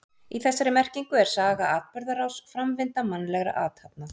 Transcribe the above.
Í þessari merkingu er saga atburðarás, framvinda mannlegra athafna.